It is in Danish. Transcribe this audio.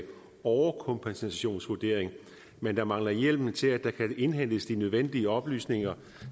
overkompensationsvurdering men der mangler hjemmel til at der kan indhentes de nødvendige oplysninger